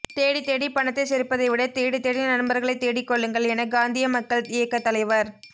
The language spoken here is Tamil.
தேடித் தேடி பணத்தைச் சேர்ப்பதைவிட தேடித் தேடி நண்பர்களைத் தேடிக்கொள்ளுங்கள் என காந்திய மக்கள் இயக்கத் தலைவர்